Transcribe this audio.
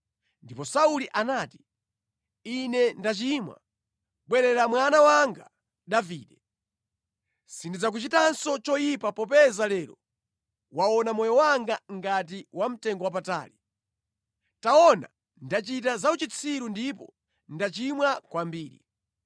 Ndipo Sauli anati, “Ine ndachimwa. Bwerera mwana wanga Davide. Sindidzakuchitanso choyipa popeza lero wauwona moyo wanga ngati wamtengowapatali. Taona, ndachita zauchitsiru ndipo ndachimwa kwambiri.”